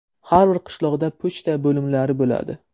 Har bir qishloqda pochta bo‘limlari bo‘ladi.